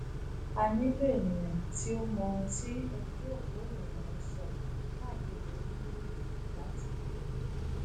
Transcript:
a nilo eniyan ti o mọ ohun ti ojuopo irinna n sọ kaakiri orilẹede latilẹ